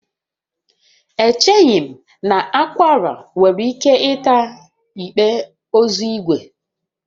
Echeghị m na akwụala nwere ike ịta igbe ozu ígwè